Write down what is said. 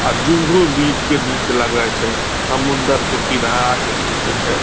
आ Juhu beach के दृश्य लगै छै समुन्दर के किनारा के दृश्य छै।